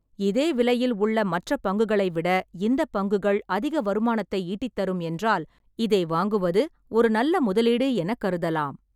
இதே விலையில் உள்ள மற்ற பங்குகளைவிட இந்தப் பங்குகள் அதிக வருமானத்தை ஈட்டித் தரும் என்றால் இதை வாங்குவது ஒரு நல்ல முதலீடு எனக் கருதலாம்.